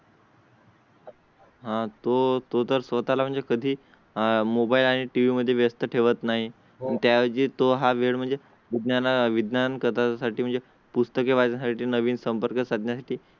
हां तो तो तर स्वतः म्हणजे कधी आह मोबाईल आणि टीव्ही मध्ये व्यस्त ठेवत नाही. त्याचे तो हा वेळ म्हणजे ज्ञाना विज्ञानकथा साठी म्हणजे पुस्तके वाचना साठी नवीन संपर्क साधण्या साठी